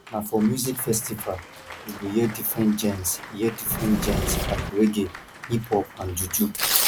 na for music festival you go hear different genres hear different genres like reggae hiphop and juju